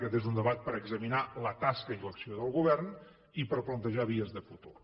aquest és un debat per examinar la tasca i l’acció del govern i per plantejar vies de futur